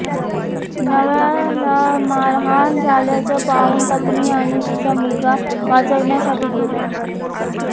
नवऱ्याला मारहाण झाल्याचं पाहून पत्नी आणि तिचा मुलगा वाचवण्यासाठी गेले